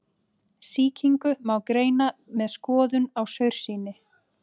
Sýkingu má greina með skoðun á saursýni.